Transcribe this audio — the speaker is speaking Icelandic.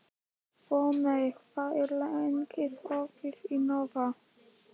Voney, hvað er lengi opið í Nova?